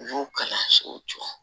U y'o kalansow jɔ